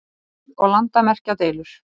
stríð og landamerkjadeilur.